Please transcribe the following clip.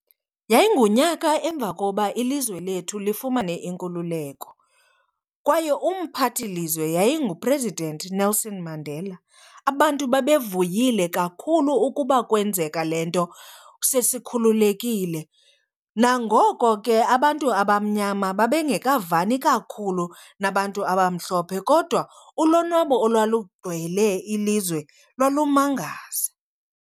Yayingunyaka emva koba ilizwe lethu lifumane inkululeko kwaye umphathi lizwe yayinguPresident Nelson Mandela. Abantu babevuyile kakhulu ukuba kwenzeka le nto sesikhululekile. Nangoko ke abantu abamnyama babe ngekavani kakhulu nabantu abamhlophe kodwa ulonwabo olwalungcwele ilizwe lwalumangaza.